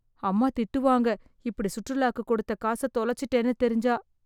அம்மா திட்டுவாங்க இப்படி சுற்றுலாக்கு கொடுத்த காச தொலைச்சுட்டேனு தெரிஞ்சா